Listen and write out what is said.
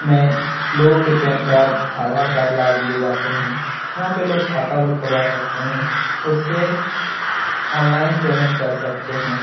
मैं लोगों के पैन कार्ड आधार कार्ड ला दिए जाते हैं। यहाँ पे लोग खाता भी खुलवा सकते हैं। उससे ऑनलाइन पेमेंट कर सकते हैं।